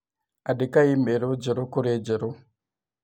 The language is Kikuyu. andĩka i-mīrū njeru kũrĩ njerũ